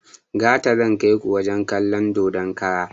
Gata zan kaiku wajen kalon dodon kara